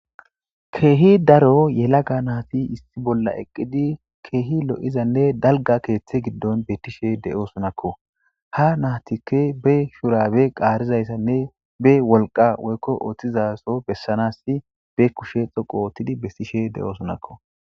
Kehi daro yelaga nayti issi bola eqidi kehi lo'izane dalga kethey gidon betishe de'osonakoha naytika be shurabe qarizaysane be wolqa woyko oothizaso besizaysane be kushe dhoqu oothidi besishe de'osonako